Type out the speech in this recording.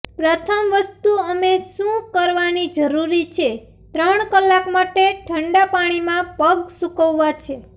પ્રથમ વસ્તુ અમે શું કરવાની જરૂર છે ત્રણ કલાક માટે ઠંડા પાણીમાં પગ સૂકવવા છે